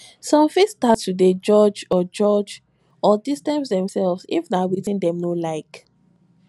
some fit start to de judge or judge or distance themselves if na wetin dem no like